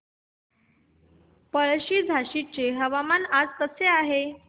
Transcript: पळशी झाशीचे हवामान आज कसे आहे